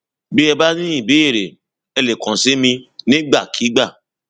bí ẹ bá ní ìbéèrè ẹ lè kàn sí mi nígbàkigbà